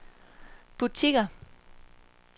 butikker